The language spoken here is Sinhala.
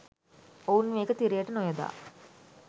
ඔවුන් මේක තිරයට නොයොදා